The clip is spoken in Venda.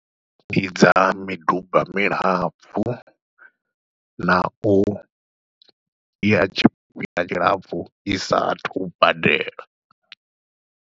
Ndi dza miduba milapfhu, na uya tshifhinga tshilapfhu i saathu u badela.